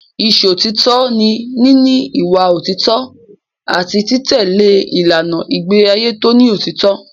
Ìṣọ̀títọ́ ni níní ìwà òtítọ́ àti títẹ̀lé ìlànà ìgbéàyé tó ní òótọ́.